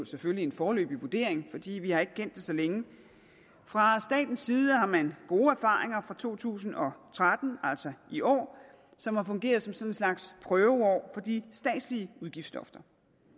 selvfølgelig en foreløbig vurdering fordi vi ikke har kendt det så længe fra statens side har man gode erfaringer fra to tusind og tretten altså i år som har fungeret som sådan en slags prøveår for de statslige udgiftslofter